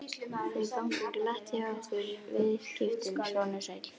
Þau ganga glatt hjá okkur viðskiptin, sonur sæll.